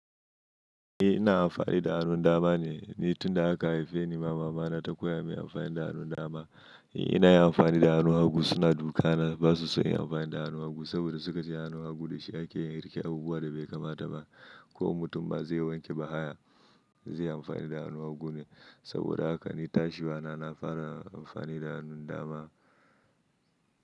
Eh ina amfani da hannun dama ne, ni tunda aka haife ni mama mana ta koya min amfani da hannun dama. Ina yawan amfani da hannun hagu suna dukana, basu so inyi amfani da hannu hagu saboda sukace hannu hagun dashi ake yin wanke a bubuwa da bai kamata ba. Ko mutum ma zai wanke bahaya zai amfani da hannun hagu ne saboda haka ni tashi nama na fara amfani da hannun dama.